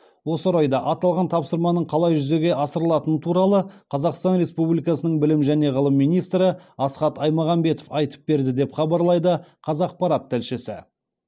осы орайда аталған тапсырманың қалай жүзеге асырылатыны туралы қазақстан республикасының білім және ғылым министрі асхат айтмағамбетов айтып берді деп хабарлайды қазақпарат тілшісі